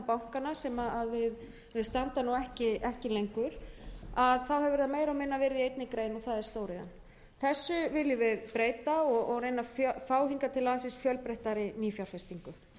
bankana sem standa nú ekki lengur þá hefur það meira og minna verið í einni grein og það er stóriðjan þessu viljum við breyta og reyna að fá hingað til lands fjölbreyttari nýfjárfestingu